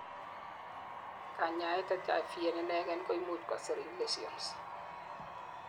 kanyaet HIV en inegen koimuch kosiriny lesions